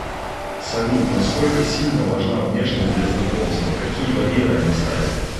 салют насколько сильно важна внешность для знакомства какие барьеры она ставит